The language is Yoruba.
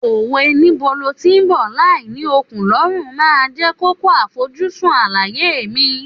Òwe Níbo lo tí ń bọ̀ láì l'ókùn l'ọ́rùn máa jẹ́ kókó àfojúsùn àlàyé mi.